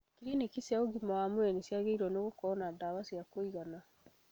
Kiriniki cia ũgima wa mwĩrĩ ciagĩrĩirwo nĩ gũkorwo na ndawa cia kũigana